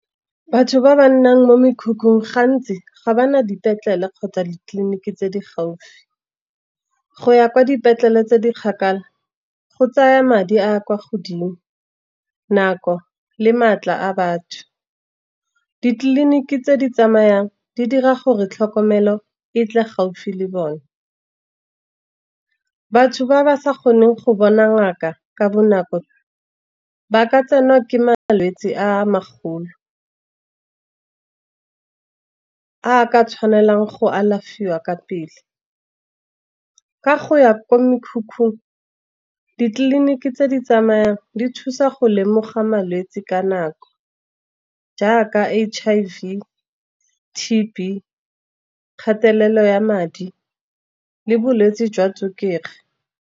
Batho ba ba nnang ko mekhukhung, gantsi ga bana dipetlele kgotsa ditleliniki tse di gaufi. Go ya kwa dipetlele tse di kgakala go tsaya madi a a kwa godimo, nako le maatla a batho. Ditleliniki tse di tsamayang di dira gore tlhokomelo e tle gaufi le bone. Batho ba ba sa kgoneng go bona ngaka ka bonako, ba ka tsenwa ke malwetsi a magolo, a ka tshwanelang go alafiwa ka pele. Ka go ya kwa mekhukhung, ditleliniki tse di tsamayang di thusa go lemoga malwetsi ka nako, jaaka H_I_V, T_B kgatelelo ya madi le bolwetsi jwa tswekere.